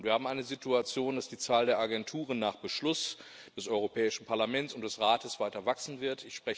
Wir haben eine Situation, dass die Zahl der Agenturen nach Beschluss des Europäischen Parlaments und des Rates weiter wachsen wird.